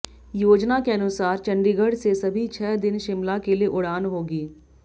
योजना के अनुसार चंडीगढ़ से सभी छह दिन शिमला के लिए उड़ान होगी